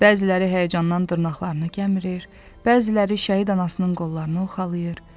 Bəziləri həyəcandan dırnaqlarını gəmirir, bəziləri şəhid anasının qollarını oxşalayır.